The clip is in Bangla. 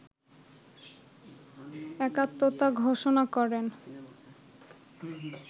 একাত্মতা ঘোষণা করেন